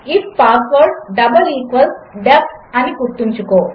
if password double equals DEF అనిగుర్తుంచుకో